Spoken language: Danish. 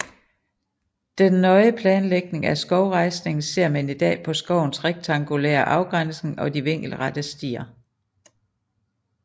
Den nøje planlægning af skovrejsningen ser man i dag på skovens rektangulære afgrænsning og de vinkelrette stier